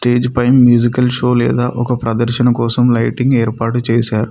పై musical show లేదా ఒక ప్రదర్శన కోసం లైటింగ్ ఏర్పాటు చేశార్.